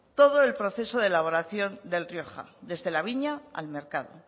todo el proceso de elaboración del rioja desde la viña al mercado